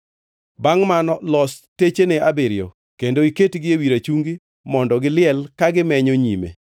“Bangʼ mano los techene abiriyo kendo iketgi ewi rachungi mondo giliel ka gimenyo nyime.